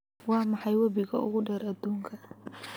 Waa maxay webiga ugu dheer aduunka?